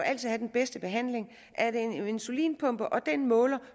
have den bedste behandling er det en insulinpumpe og den måler